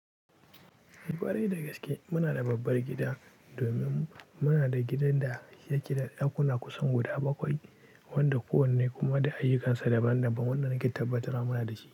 Ɓari da gaske muna da babbar gida domin muna da gidan da yake da ɗakuna kusan guda bakwai wanda kowanne kuma da ayyukansa daban-daban wanda na ke tabbatarwa da shi.